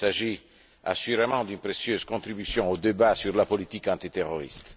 Il s'agit assurément d'une précieuse contribution au débat sur la politique antiterroriste.